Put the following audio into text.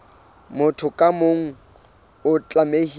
motho ka mong o tlamehile